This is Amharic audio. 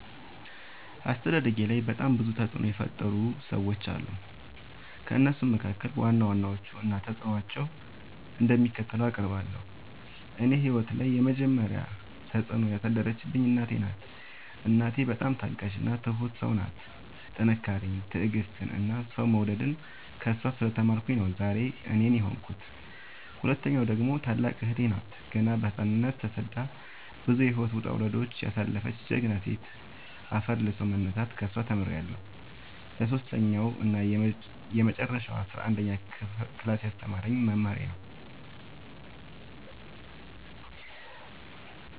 አስተዳደጌላይ በጣም ብዙ ተፅዕኖ የፈጠሩ ሰዎች አሉ። ከእነሱም መካከል ዋና ዋናዎቹን እና ተፅዕኖቸው እንደሚከተለው አቀርባለሁ። እኔ ህይወት ላይ የመጀመሪ ተፅዕኖ ያሳደረችብኝ እናቴ ናት። እናቴ በጣም ታጋሽ እና ትሁት ሰው ናት ጥንካሬን ትዕግስትን እና ሰው መውደድን ከእሷ ስለ ተማርኩኝ ነው ዛሬ እኔን የሆንኩት። ሁለተኛዋ ደግሞ ታላቅ እህቴ ናት ገና በህፃንነቶ ተሰዳ ብዙ የህይወት ወጣውረድ ያሳለፈች ጀግና ሴት አፈር ልሶ መነሳትን ከሷ ተምሬለሁ። ሰሶስተኛው እና የመጀረሻው አስረአንደኛ ክላስ ያስተማረኝ መምህሬ ነው።